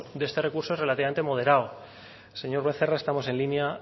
de este recurso es relativamente moderado señor becerra estamos en línea